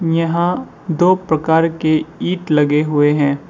यहाँ दो प्रकार के ईट लगे हुए हैं।